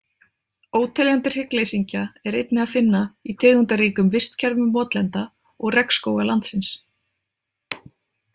Óteljandi hryggleysingja er einnig að finna í tegundaríkum vistkerfum votlenda og regnskóga landsins.